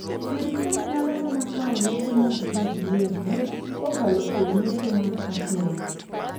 sirkal nyalo mana kawo lope mag jii giwegi kokalo kuom mecho mar achuna